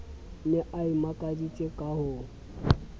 ne a imakaditse ka ho